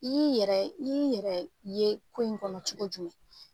I y'i yɛrɛ i y'i yɛrɛye ko in kɔnɔ cogo jumɛn